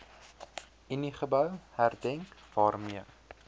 uniegebou herdenk waarmee